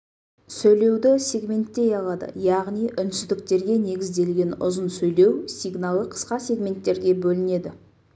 сөйлеуді сегменттей алады яғни үнсіздіктерге негізделген ұзын сөйлеу сигналы қысқа сегменттерге бөлінеді